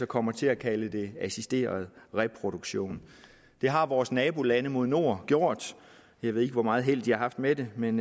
kommer til at kalde det assisteret reproduktion det har vores nabolande mod nord gjort jeg ved ikke hvor meget held de har haft med det men